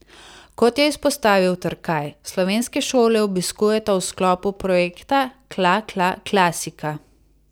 Kot je izpostavil Trkaj, slovenske šole obiskujeta v sklopu projekta Kla kla klasika.